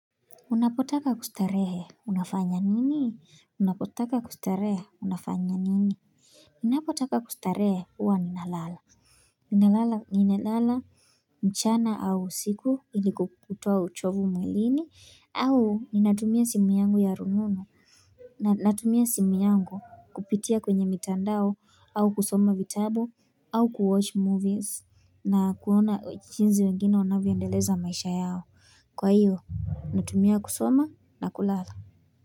Unapotaka kustarehe unafanya nini unapotaka kustarehe unafanya nini ninapotaka kustarehe huwa ninalala ninalala ninalala mchana au usiku ili kutoa uchovu mwilini au ninatumia simu yangu ya rununu natumia simu yangu kupitia kwenye mitandao au kusoma vitabu au kuwatch movies na kuona jinsi wengine wanavyoendeleza maisha yao Kwa hiyo, natumia kusoma na kulala.